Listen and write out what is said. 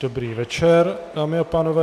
Dobrý večer, dámy a pánové.